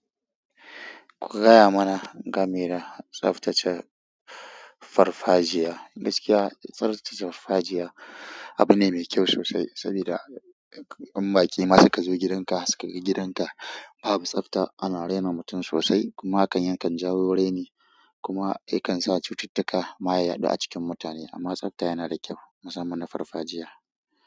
Ku gaya mana game da tsaftace farfajiya. Gaskiya, tsaftace farfajiya abu ne mai kyau sosai saboda in baƙi ma suka zo gidanka suka ga gidanka babu tsafta, ana raina mutum sosai kuma hakan yakan jawo raini kuma ya kan sa cututtuka ma ya yaɗu a cikin mutane. Amma tsafta yana da kyau musamman na farfajiya.